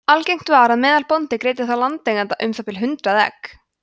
algengt var að meðalbóndi greiddi þá landeiganda um það bil hundrað egg